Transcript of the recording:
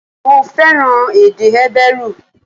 Mo fẹ́ràn èdè Hébérù